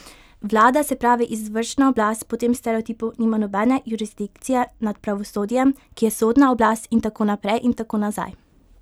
Vlada, se pravi izvršna oblast, po tem stereotipu nima nobene jurisdikcije nad pravosodjem, ki je sodna oblast in tako naprej in tako nazaj.